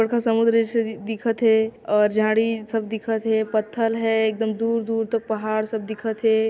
एक ठो समुन्द्र जइसे दिखा थे और झाड़ी सब दिखा थे पत्थल हैं एकदम दूर-दूर तक पहाड़ सब दिखत हैं।